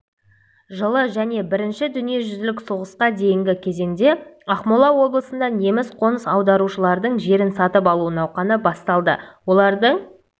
жылы және бірінші дүниежүзілік соғысқа дейінгі кезеңде ақмола облысында неміс қоныс аударушыларының жерін сатып алу науқаны басталды олардың